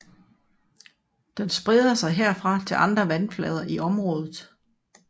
Den spreder sig herfra til andre vandflader i området